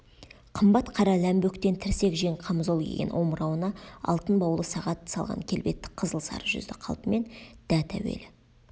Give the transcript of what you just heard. қымбат қара ләмбөктен тірсек жең қамзол киген омырауына алтын баулы сағат салған келбетті қызыл-сары жүзді қалпымен дәт әуелі